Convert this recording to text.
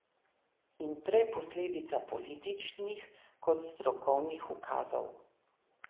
In prej posledica političnih kot strokovnih ukazov.